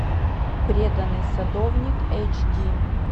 преданный садовник эйч ди